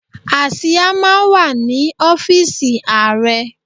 Àsìá máa ń wà ní ọ́fíísì Ààrẹ.